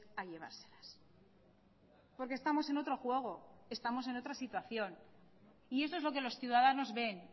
a llevárselas porque estamos en otro juego estamos en otra situación y eso es lo que los ciudadanos ven